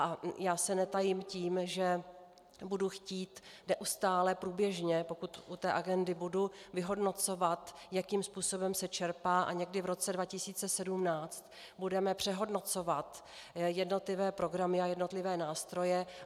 A já se netajím tím, že budu chtít neustále, průběžně, pokud u té agendy budu, vyhodnocovat, jakým způsobem se čerpá, a někdy v roce 2017 budeme přehodnocovat jednotlivé programy a jednotlivé nástroje.